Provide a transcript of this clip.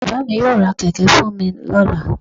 Baba mí yóò rá kẹkẹ fún mi ní lola